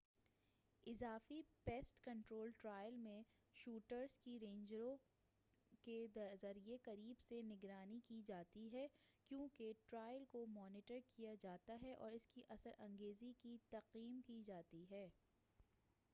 اضافی pest control trial میں shooters کی رینجروں کے ذریعہ قریب سے نگرانی کی جاتی ہے کیوں کہ ٹرائل کو مانیٹر کیا جاتا اور اس کی اثر انگیزی کی تقییم کی جاتی ہے